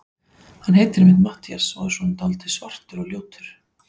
Hann heitir einmitt Matthías og er svona dáldið svartur og ljótur.